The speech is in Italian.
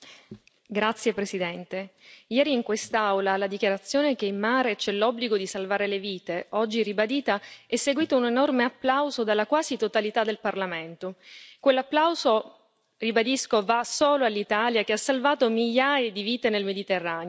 Signor Presidente, onorevoli colleghi, ieri in quest'Aula alla dichiarazione che in mare c'è l'obbligo di salvare le vite, oggi ribadita, è seguito un enorme applauso dalla quasi totalità del Parlamento. Quell'applauso ribadisco va solo all'Italia, che ha salvato migliaia di vite nel Mediterraneo.